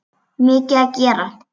Mikið að gera?